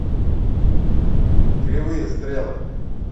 кривые стрелы